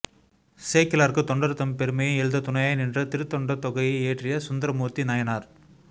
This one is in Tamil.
சேக்கிழாருக்குத் தொண்டர்தம் பெருமையை எழுத துணையாய் நின்ற திருத்தொண்டத் தொகையை இயற்றிய சுந்தரமூர்த்தி நயனார்